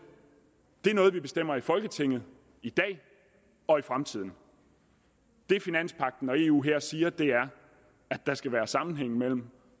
det er noget vi bestemmer i folketinget i dag og i fremtiden det finanspagten og eu her siger er at der skal være sammenhæng mellem